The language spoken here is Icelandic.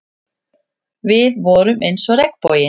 Við vorum eins og regnboginn.